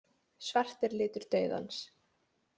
Svart er litur dauðans.